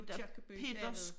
Aakirkeby bagved